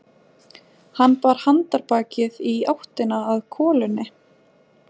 Hann bar handarbakið í áttina að kolunni.